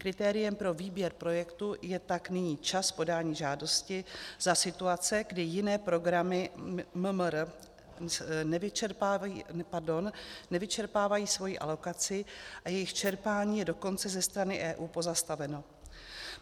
Kritériem pro výběr projektů je tak nyní čas podání žádosti za situace, kdy jiné programy MMR nevyčerpávají svoji alokaci, a jejich čerpání je dokonce ze strany EU pozastaveno.